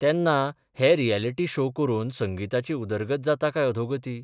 तेन्ना हे reality show करून संगिताची उदरगत जाता काय अधोगती?